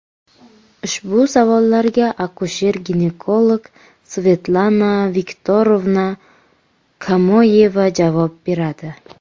Ushbu savollarga akusher-ginekolog Svetlana Viktorovna Kamoyeva javob beradi.